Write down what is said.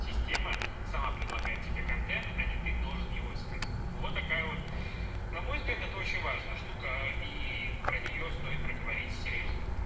система сама предлагает себе контент а не ты должен его искать вот такая вот на мой взгляд это очень важная штука и про неё стоит поговорить серьёзно